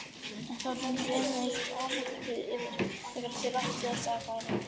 En þá dundi enn eitt áfallið yfir: þegar til átti að taka, reyndist